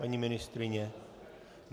Paní ministryně?